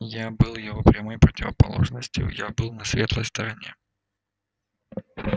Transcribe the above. я был его прямой противоположностью я был на светлой стороне